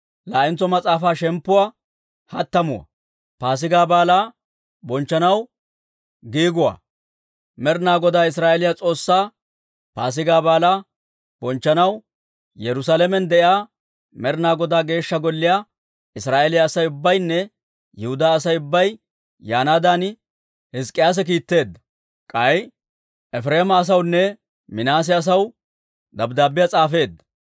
Med'inaa Godaa Israa'eeliyaa S'oossaa Paasigaa Baalaa bonchchanaw, Yerusaalamen de'iyaa Med'inaa Godaa Geeshsha Golliyaa Israa'eeliyaa Asay ubbaynne Yihudaa Asay ubbay yaanaadan Hizk'k'iyaase kiitteedda; k'ay Efireema asawunne Minaase asaw dabddaabbiyaa s'aafeedda.